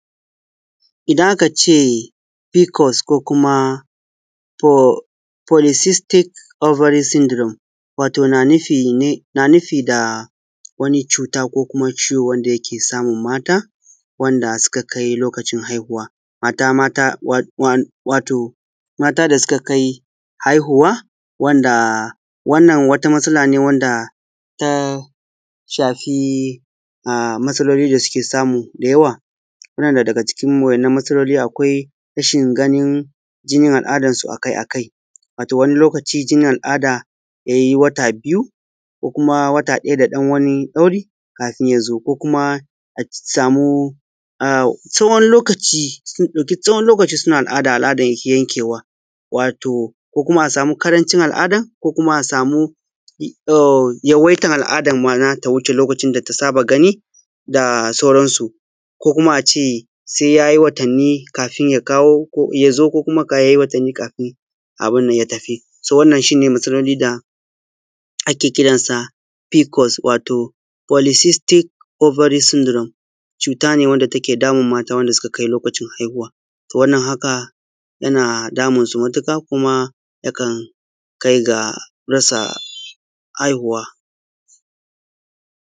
Idan aka ce Fiƙos ko kuma Folisistik Obari Sindirom Wato na nufin wato na nufi da wani cuta ko kuma ciwo wanda yake samu mata wanda suka kai lokacin haihuwa. Mata mata, wan-wan, wato mata da suka kai haihuwa. Wannan wata matsala ce wanda ta shafi matsaloli da suke samu da yawa. Yana daga ciki waɗannan matsaloli: Rashin ganin jinin al’aɗansu akai-akai, wato wani lokaci jinin al’aɗa ya yi wata biyu ko kuma wata ɗaya da ɗan wani ɗauri kafin ya zo. Ko kuma a samu a tsawon lokaci sun ɗauki tsawon lokaci suna al’aɗa, al’aɗan bai yanƙewa. Ko kuma a samu ƙarancin al’aɗan. Ko kuma a samu yawaitan al’aɗan nata ya wuce lokacin da ta saba gani. Ko sai ya yi watanni kafin ya kawo, ya zo. Ko kuma sai ya yi watanni kafin abun nan ya tafi. So, wannan shi ne matsalolin da ake kira Fiƙos, wato Folisistik Obari Sindirom. Cuta ce wanda take damun mata wanda suka kusa kai haihuwa. To, wannan haka yana damun su matuƙa, kuma yakan kai ga rasa haihuwa.